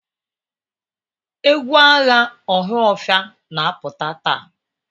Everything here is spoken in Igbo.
Egwu agha Ohafia na-apụta taa?